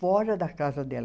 fora da casa dela.